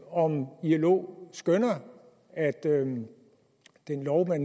om ilo skønner at den den lov man